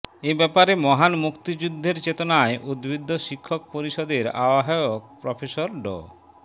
এ ব্যাপারে মহান মুক্তিযুদ্ধের চেতনায় উদ্বুদ্ধ শিক্ষক পরিষদের আহ্বায়ক প্রফেসর ড